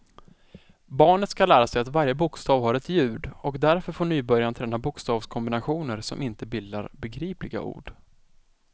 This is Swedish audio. Barnet skall lära sig att varje bokstav har ett ljud och därför får nybörjaren träna bokstavskombinationer som inte bildar begripliga ord.